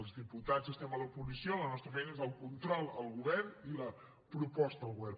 els diputats estem a l’oposició la nostra feina és el control al govern i la proposta al govern